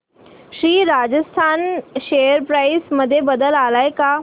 Shri Rajasthan share price मध्ये बदल आलाय का